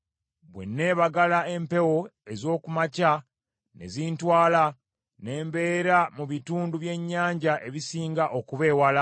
Bwe nneebagala empewo ez’oku makya ne zintwala ne mbeera mu bitundu by’ennyanja ebisinga okuba ewala;